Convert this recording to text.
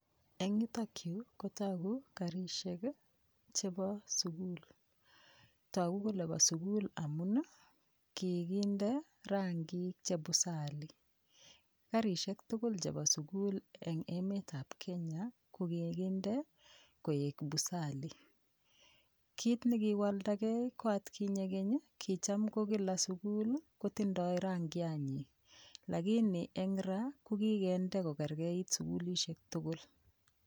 Eng' yutokyu kotoku karishek chebo sukul toku kole bo sukul amun kikinde ranging chepusali karishek tugul chebo sukul eng' emetab Kenya kokikinde koek pusali kiit nekiwaldagei ko atkinye keny kicham ko kila sukul kotindoi rangianyi lakini eng' ra kokikende kokergeit sukulishek tugul